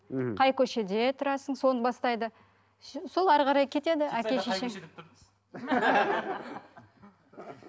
мхм қай көшеде тұрасың соны бастайды все сол әрі қарай кетеді әке шешең